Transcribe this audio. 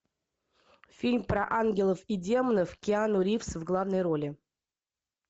фильм про ангелов и демонов киану ривз в главной роли